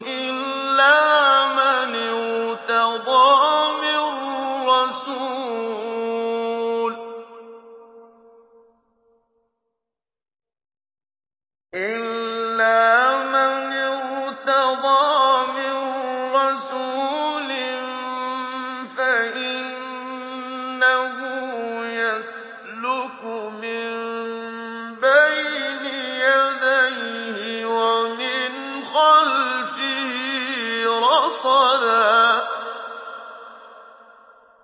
إِلَّا مَنِ ارْتَضَىٰ مِن رَّسُولٍ فَإِنَّهُ يَسْلُكُ مِن بَيْنِ يَدَيْهِ وَمِنْ خَلْفِهِ رَصَدًا